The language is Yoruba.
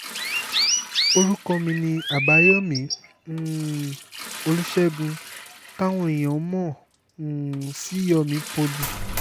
orúkọ mi ni àbáyọ̀mí um olùṣègùn táwọn èèyàn mọ̀ um sí yomi poly